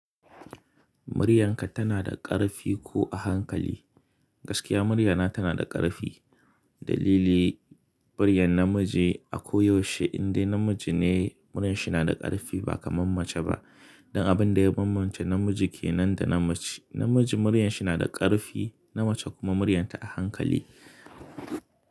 Muryarka tana da ƙarfi ko a hankali? Gaskiya muryana tana da ƙarfi. Dalili, muryar namiji a koyaushe indai namiji ne muryar shi na da ƙarfi ba kamar mace ba. Dan abin da ya kammance namiji ke nan da na mace. Namiji muryar shi na da ƙarfi, na mace kuma muryar ta a hankali.